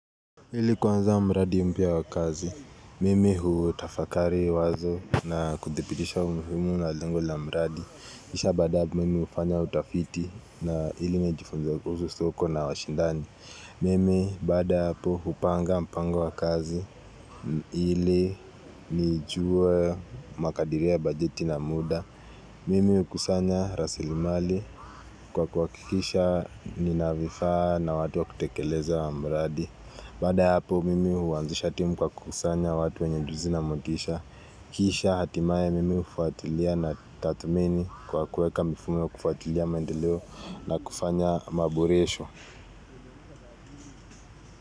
Ili kuanza mradi mpya wa kazi, mimi huu utafakari wazo na kudhibitisha umuhimu na lengo la mradi kisha baadae mimi ufanya utafiti na ili imejifunza kuhusu soko na washindani Mimi baada ya hapo upanga mpango wa kazi, ili nijue makadiria bajeti na muda Mimi hukusanya rasilimali kwa kuakikisha ninavifaa na watu wa kutekeleza wa mradi Baada ya hapo mimi huanzisha timu kwa kukusanya watu wenye ujuzi na motisha Kisha hatimaye mimi hufuatilia na tathmini kwa kuweka mifumo hufuatilia maendeleo na kufanya maboresho.